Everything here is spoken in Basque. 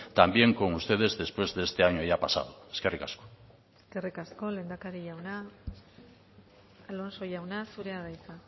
también con ustedes después de este año ya pasado eskerrik asko eskerrik asko lehendakari jauna alonso jauna zurea da hitza